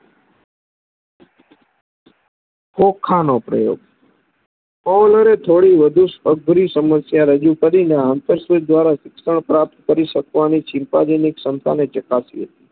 ખોખાનો પ્રયોગ કહલોરે થોડી વધુ અઘરી સમસ્યા રજુ કરી અને આ નરસતીત દ્વારા શિક્ષણ પ્રાપ્ત કરી શકવાનું ચિંતાવિનય ચકાસ્યું